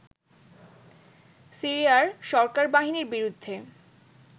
সিরিয়ার সরকার বাহিনীর বিরুদ্ধে